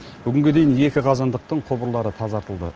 бүгінге дейін екі қазандықтың құбырлары тазартылды